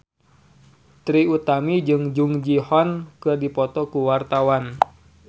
Trie Utami jeung Jung Ji Hoon keur dipoto ku wartawan